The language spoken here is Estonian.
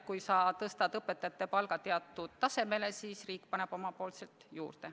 Kui sa tõstad õpetajate palga teatud tasemele, siis riik paneb omalt poolt juurde.